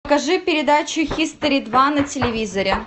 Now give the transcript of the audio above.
покажи передачу хистори два на телевизоре